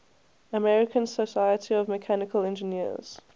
american society of mechanical engineers